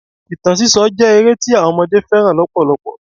Ìtàn sísọ jẹ́ ere tí àwọn ọmọdé fẹ́ràn lọpọlọpọ.